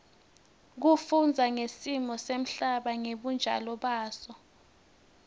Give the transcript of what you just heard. kufundza ngesimo semhlaba ngebunjalo baso